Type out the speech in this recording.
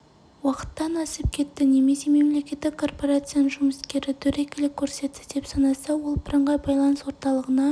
уақыттан асып кетті немесе мемлекеттік корпорацияның жұмыскері дөрекілік көрсетті деп санаса ол бірыңғай байланыс орталығына